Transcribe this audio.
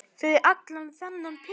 Fyrir allan þennan pening?